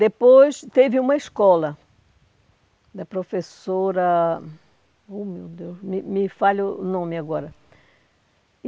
Depois teve uma escola da professora... Oh, meu Deus, me me falha o nome agora.